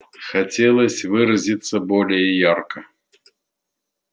хотелось выразиться более ярко